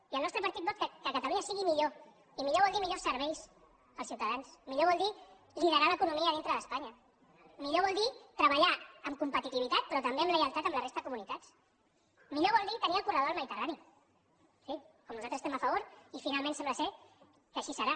i el nostre partit vol que catalunya sigui millor i millor vol dir millors serveis als ciutadans millor vol dir liderar l’economia dintre d’espanya millor vol dir treballar amb competitivitat però també amb lleialtat amb la resta de comunitats millor vol dir tenir el corredor del mediterrani sí com nosaltres hi estem a favor i finalment sembla que així serà